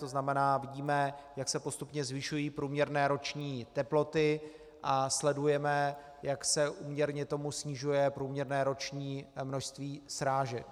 To znamená, vidíme, jak se postupně zvyšují průměrné roční teploty, a sledujeme, jak se úměrně tomu snižuje průměrné roční množství srážek.